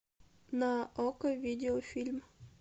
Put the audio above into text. на окко видеофильм